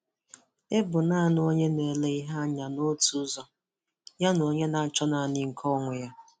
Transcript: Ị bụ naanị onye na-ele ihe anya n'otu ụzọ, yana onye na-achọ naanị nke onwe ya. onwe ya.